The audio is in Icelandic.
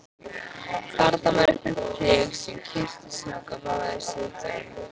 Þarna var eitthvert prik sem kyrkislanga vafðist utan um.